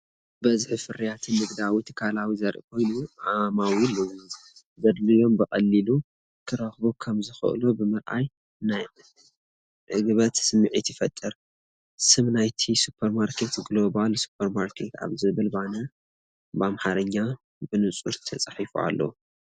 ብብዝሒ ፍርያትን ንግዳዊ ትካላትን ዘርኢ ኮይኑ፡ ዓማዊል ዘድልዮም ብቐሊሉ ክረኽቡ ከም ዝኽእሉ ብምርኣይ ናይ ዕግበት ስምዒት ይፈጥር። ስም ናይቲ ሱፐርማርኬት "ግሎባል ሱፐርማርኬት" ኣብ ዝብል ባነር ብኣምሓርኛ ብንጹር ተጻሒፉ ኣሎ።